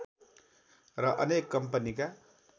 र अनेक कम्पनीका